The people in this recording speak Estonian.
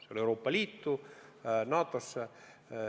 Selles ei ole vähimatki kahtlust.